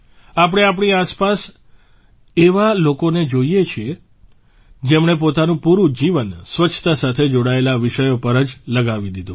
આપણે આપણી આસપાસ એવા લોકોને જોઇએ પણ છીએ જેમણે પોતાનું પૂરૂં જીવન સ્વચ્છતા સાથે જોડાયેલા વિષયો પર જ લગાવી દીધું